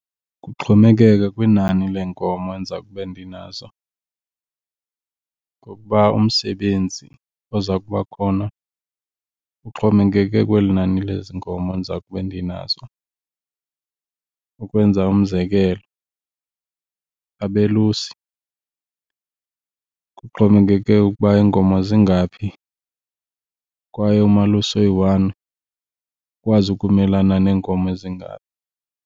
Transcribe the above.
Kuxhomekeka kwinani leenkomo endiza kube ndinazo ngokuba umsebenzi oza kuba khona uxhomekeke kweli nani lezi nkomo ndiza kube ndinazo. Ukwenza umzekelo, abelusi kuxhomekeke ukuba iinkomo zingaphi kwaye umalusi oyi-one ukwazi ukumelana neenkomo ezingaphi.